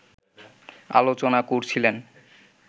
আলোচনা করছিলেন